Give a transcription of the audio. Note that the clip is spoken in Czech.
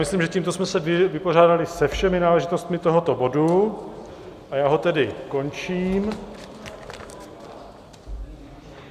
Myslím, že tímto jsme se vypořádali se všemi náležitostmi tohoto bodu a já ho tedy končím.